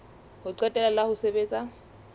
ho qetela la ho sebetsa